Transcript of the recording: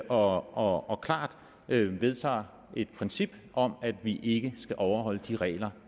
og og klart vedtager et princip om at vi ikke skal overholde de regler